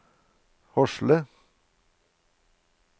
Hosle